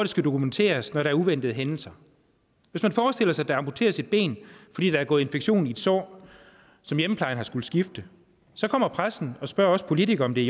skal dokumenteres når der er uventede hændelser hvis man forestiller sig der amputeres et ben fordi der er gået infektion i et sår som hjemmeplejen har skullet skifte så kommer pressen og spørger os politikere om det